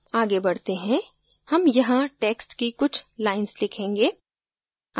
आगे बढते हैं हम यहाँ text की कुछ lines लिखेंगे